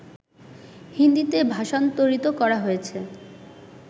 হিন্দীতে ভাষান্তরিত করা হয়েছে